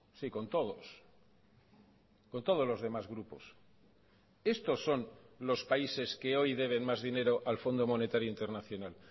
sí con todos con todos los demás grupos estos son los países que hoy deben más dinero al fondo monetario internacional